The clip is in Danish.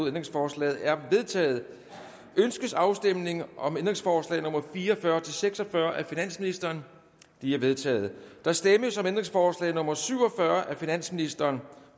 ændringsforslaget er vedtaget ønskes afstemning om ændringsforslag nummer fire og fyrre til seks og fyrre af finansministeren de er vedtaget der stemmes om ændringsforslag nummer syv og fyrre af finansministeren